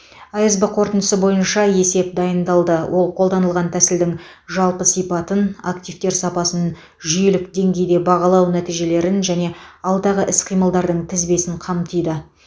асб қорытындысы бойынша есеп дайындалды ол қолданылған тәсілдің жалпы сипатын активтер сапасын жүйелік деңгейде бағалау нәтижелерін және алдағы іс қимылдардың тізбесін қамтиды